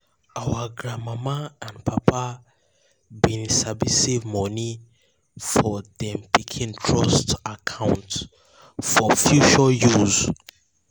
our grand mama and papa been sabi save money for dem pikin trust account for future use.